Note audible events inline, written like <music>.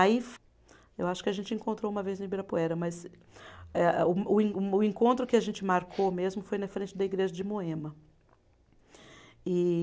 Aí, eu acho que a gente encontrou uma vez no Ibirapuera, mas a eh, o o <unintelligible> o encontro que a gente marcou mesmo foi na frente da igreja de Moema. E